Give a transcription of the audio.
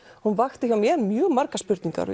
hún vakti hjá mér mjög margar spurningar